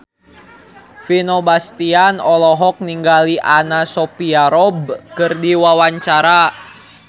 Vino Bastian olohok ningali Anna Sophia Robb keur diwawancara